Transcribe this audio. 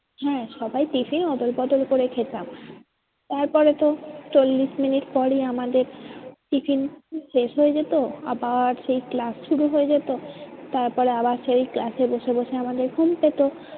হ্যাঁ সবাই tiffin অদল বদল করে খেতাম। তারপরে তো চল্লিশ মিনিট পরই আমাদের tiffin শেষ হয়ে যেত আবার সেই class শুরু হয়ে যেত। তারপরে আবার সেই class এ বসে বসে আমাদের ঘুম পেতো।